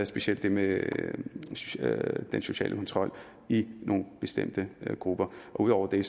specielt det med den sociale kontrol i nogle bestemte grupper ud over det